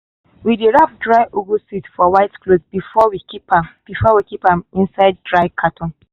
we dey wrap dried ugu seed for white cloth before we keep before we keep am inside dry carton.